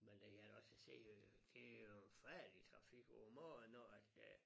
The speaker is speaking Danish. Men det kan jeg da også se øh det jo en forfærdelig trafik om morgen når at det